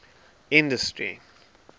industry